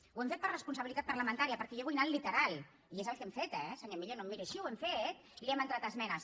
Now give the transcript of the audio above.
ho hem fet per responsabilitat parlamentària perquè jo vull anar al literal i és el que hem fet eh senyor millo no em miri així ho hem fet li hem entrat esmenes